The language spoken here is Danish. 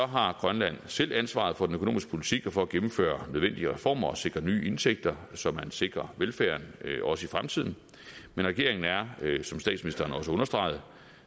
har grønland selv ansvaret for den økonomiske politik og for at gennemføre nødvendige reformer og sikre nye indtægter så man sikrer velfærden også i fremtiden men regeringen er som statsministeren også understregede